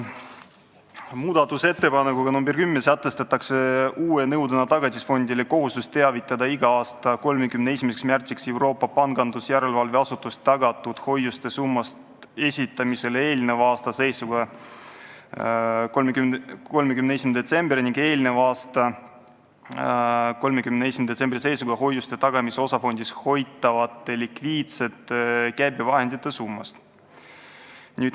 Muudatusettepanekuga nr 10 sätestatakse uue nõudena Tagatisfondi kohustus teavitada iga aasta 31. märtsiks Euroopa Pangandusjärelevalve Asutuses tagatud hoiuste summast esitamisele eelneva aasta seisuga 31. detsember ning eelneva aasta 31. detsembri seisuga hoiuste tagamise osafondis hoitavate likviidsete käibevahendite summa.